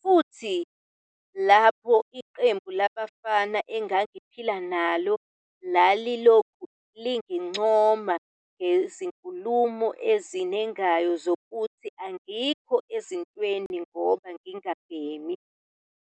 futhi lapho iqembu labafana engangiphila nalo lalilokhu lingigcona ngezinkulumo ezinengayo zokuthi angikho ezintweni ngoba ngingabhemi."